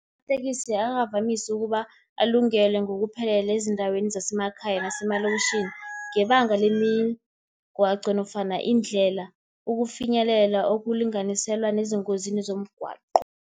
Amatekisi akavamisi ukuba alungele ngokuphelele ezindaweni zasemakhaya, nasemalokitjhini, ngebanga lemigwaqo nofana iindlela, ukufinyelela okulinganiselwa nezingozini zomgwaqo.